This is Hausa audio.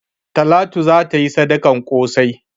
Talatu za ta yi sadakan ƙosai.